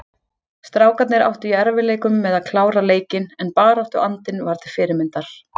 Strákarnir áttu í erfiðleikum með að klára leikinn en baráttuandinn var til fyrirmyndar.